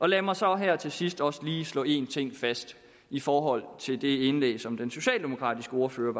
jeg må så her til sidst også lige slå en ting fast i forhold til det indlæg som den socialdemokratiske ordfører